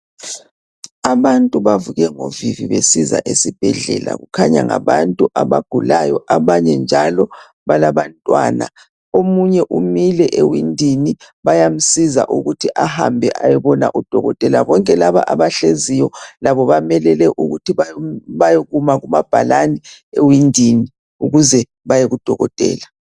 Abantu bavuke ngovivi besiza esibhedlela, kukhanya ngabantu abagulayo abanye njalo balabantwana. Omunye umile ewindini bayamsiza ukuthi ahambe ayobona udokokotela. Bonke laba abahleziyo labo bamelele ukuthi bayokuma kumabhalane ewindini ukuze baye kudokotela.